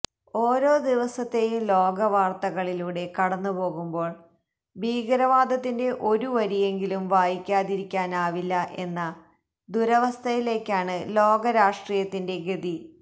ഓരോ ദിവസത്തേയും ലോകവാർത്തകളിലൂടെ കടന്നുപോകുമ്പോൾ ഭീകരവാദത്തിന്റെ ഒരു വരിയെങ്കിലും വായിക്കാതിരിക്കാനാവില്ല എന്ന ദുരവസ്ഥയിലേക്കാണ് ലോക രാഷ്ട്രീയത്തിന്റെ ഗതി